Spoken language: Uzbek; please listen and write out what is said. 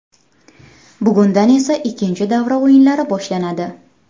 Bugundan esa ikkinchi davra o‘yinlari boshlanadi.